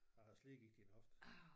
Jeg havde slidgigt en hofte